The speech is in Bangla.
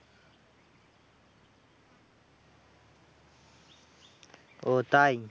ও তাই?